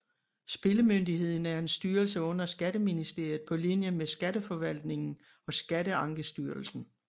Spillemyndigheden er en styrelse under Skatteministeriet på linje med Skatteforvaltningen og Skatteankestyrelsen